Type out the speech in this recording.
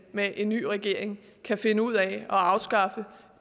med en ny regering kan finde ud af at afskaffe